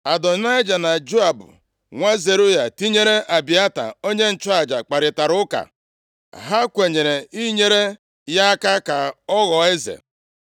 Adonaịja na Joab, nwa Zeruaya + 1:7 Zeruaya, bụ nwanne nwanyị Devid. tinyere Abịata + 1:7 Abịata, bụ nwa Ahimelek. \+xt 1Sa 22:20\+xt* onye nchụaja, kparịtara ụka. Ha kwenyere inyere ya aka ka ọ ghọọ eze.